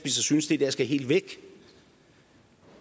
synes det der skal helt væk